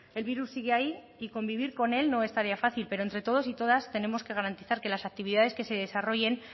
el virus sigue ahí y convivir con él no es tarea fácil pero entre todos y todas tenemos que garantizar que las actividades que se desarrollen